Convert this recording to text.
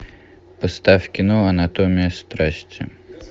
поставь кино анатомия страсти